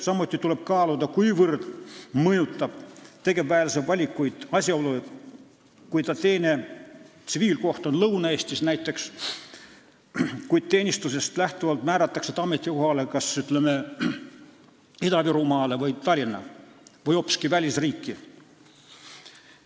Samuti tuleb kaaluda, kuivõrd mõjutavad tegevväelase valikuid sellised asjaolud, et kui ta tsiviiltöökoht on näiteks Lõuna-Eestis, kuid teenistuses määratakse ta ametikohale kas Ida-Virumaale või Tallinna või hoopiski välisriiki.